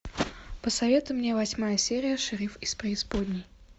посоветуй мне восьмая серия шериф из преисподней